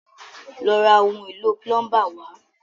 Lọ ra ohun èlò púlọ́ńbà wá!